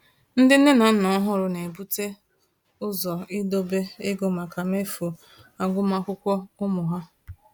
Ndị nne na nna ọhụrụ na-ebute ụzọ idobe ego maka mmefu agụmakwụkwọ ụmụ ha.